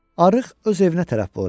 Arıq öz evinə tərəf boylandı.